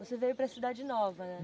Você veio para Cidade Nova, né?